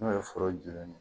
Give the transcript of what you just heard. N'o ye foro bilenni ye